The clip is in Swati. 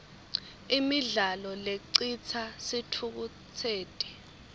imidlalo lecitsa sitfukutseti